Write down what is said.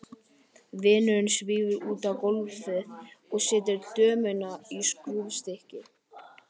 Vinurinn svífur út á gólfið og setur dömuna í skrúfstykki.